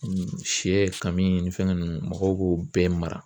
sɛ ka min ni fɛn ninnu mɔgɔw b'o bɛɛ mara